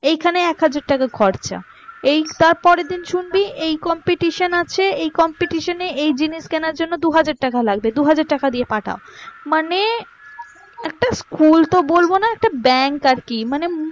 এইখানে এক হাজার টাকা খরচা, এই তারপরের দিন শুনবি এই competition আছে। এই competition এ এই জিনিস কেনার জন্য দু হাজার টাকা লাগবেদু হাজার টাকা দিয়ে পাঠাও মানে একটা school তো বলবোনা bank আর কি